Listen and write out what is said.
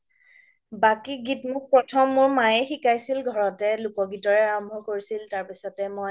বাকি গীত বোৰ প্ৰথম মোৰ মাইয়ে শিকাইছিল ঘৰতে লোক গীতেৰে আৰম্ভ কৰিছিল তাৰ পিছতে মই